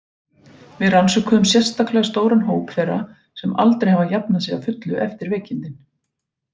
Við rannsökuðum sérstaklega stóran hóp þeirra sem aldrei hafa jafnað sig að fullu eftir veikindin.